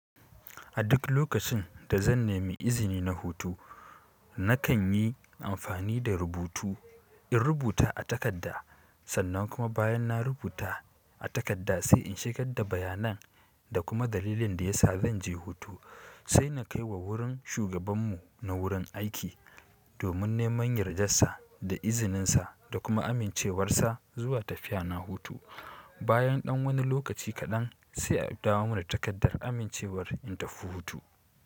A duk lokacin da zan nemi izini na hutu, nakan yi amfani da rubutu in rubuta a takarda. Sannan kuma bayan na rubuta a takarda sai in shigad da bayanan, da kuma dalilin da ya sa zan je hutu sai na kaiwa wurin shugaban mu na wurin aiki. Domin neman yardarsa, da izininsa da kuma amincewarsa, zuwa tafiya na hutu. Bayan ɗan wani lokaci kaɗan sai a dawo mana da takardar amincewar in tafi hutu.